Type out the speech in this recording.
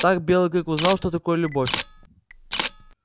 так белый клык узнал что такое любовь